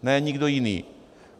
Ne nikdo jiný.